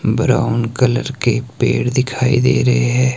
Brown colour के पेड़ दिखाई दे रहे है।